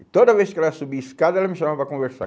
E toda vez que ela subia escada, ela me chamava para conversar.